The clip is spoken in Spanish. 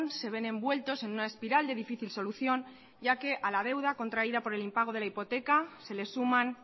se ven envueltos en una espiral de difícil solución ya que a la deuda contraída por el impago de la hipoteca se le suman